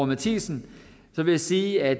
matthisen vil jeg sige at